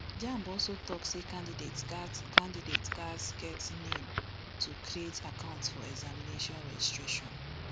jamb also tok say candidates gatz candidates gatz get nin to create account for examination registration